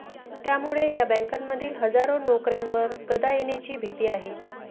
त्यामुळे या बँकांमधील हजारो नोकर्यांवर गदा येण्याची भीती आहे